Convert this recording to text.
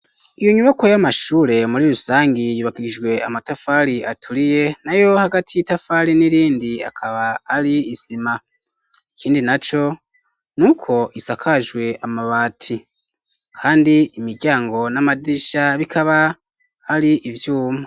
Iyo nyubako y'amashure muri rusangi yubakishijwe amatafari aturiye nayo hagati y'itafari n'irindi hakaba ari isima ikindi naco nuko isakajwe amabati kandi imiryango n'amadirisha bikaba ari ivyuma.